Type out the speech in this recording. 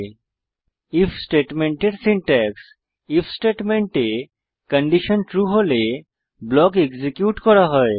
if স্টেটমেন্টের syntax if স্টেটমেন্টে condition true হলে ব্লক এক্সিকিউট করা হয়